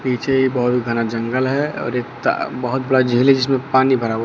पीछे एक बहुत घना जंगल है और एक ता बहुत बड़ा झील है जिसमें पानी भरा हुआ--